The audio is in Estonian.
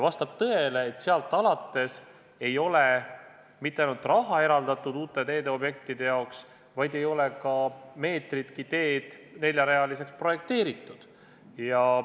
Vastab tõele, et sealt alates ei ole mitte ainult raha eraldatud uute teeobjektide jaoks, vaid ei ole ka meetritki teed neljarealiseks projekteeritud.